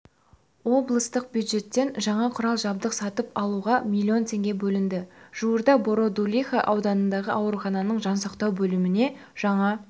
облыстық бюджеттен жаңа құрал-жабдық сатып алуға миллион теңге бөлінді жуырда бородулиха ауданындағы аурухананың жансақтау бөліміне жаңа